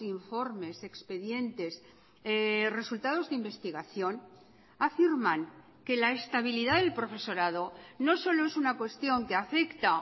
informes expedientes resultados de investigación afirman que la estabilidad del profesorado no solo es una cuestión que afecta